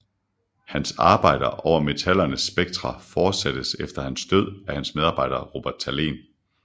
Hans arbejder over metallernes spektra fortsattes efter hans død af hans medarbejder Robert Thalén